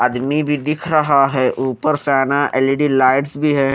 आदमी भी दिख रहा है ऊपर सेना एल_ई_डी लाइट्स भी है।